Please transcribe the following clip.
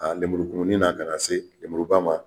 A lemurukumuni na kana se lemuruba ma